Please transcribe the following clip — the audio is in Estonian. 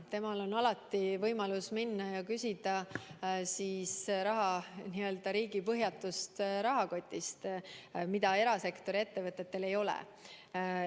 Temal on alati võimalus minna ja küsida raha riigi n‑ö põhjatust rahakotist, mida erasektori ettevõtetel ei ole.